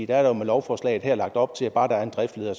der er med lovforslaget her lagt op til at bare der er en driftsleder